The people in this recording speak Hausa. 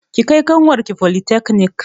Ki kai ƙanwar ki folitakanik!